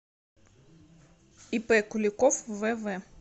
ип куликов вв